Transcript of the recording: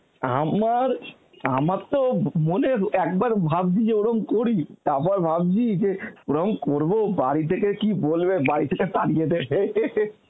আমার, আমার তো মনের একবার ভাবছি যে ওরম করি তাপর ভাবছি যে ওরম করব বাড়ি থেকে কি বলবে, বাড়ি থেকে তাড়িয়ে দেবে .